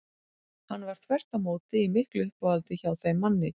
Hann var þvert á móti í miklu uppáhaldi hjá þeim manni.